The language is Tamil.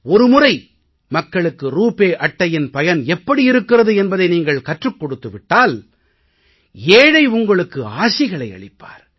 ஒரு முறை மக்களுக்கு ரூபே அட்டையின் பயன் எப்படி இருக்கிறது என்பதை நீஙக்ள் கற்றுக் கொடுத்து விட்டால் ஏழை உங்களுக்கு ஆசிகள் அளிப்பார்